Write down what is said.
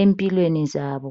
empilweni zabo.